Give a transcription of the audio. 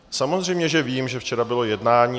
Samozřejmě že vím, že včera bylo jednání.